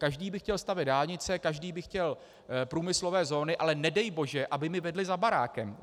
Každý by chtěl stavět dálnice, každý by chtěl průmyslové zóny, ale nedej bože, aby mi vedly za barákem.